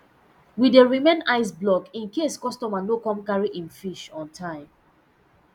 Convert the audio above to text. we dey remain iceblock in case customer no come carry im fish on time